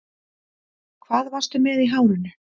Hvað varstu með í hárinu